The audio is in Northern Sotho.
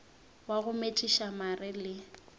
wa go metšiša mare le